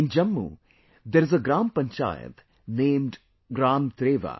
In Jammu there is a Gram Panchayat named Gram Treva